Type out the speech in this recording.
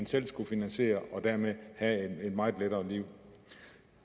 selv skulle finansiere og dermed ville have et meget lettere liv